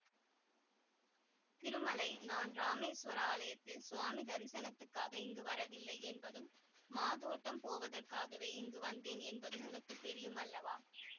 திருமலை நான் இராமேசுவர ஆலயத்தில் சுவாமி தரிசனத்துக்காக இங்கு வரவில்லை என்பதும் மாதோட்டம் போவதற்காகவே இங்கு வந்தேன் என்பதும் உனக்கு தெரியும் அல்லவா